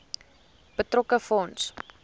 betrokke fonds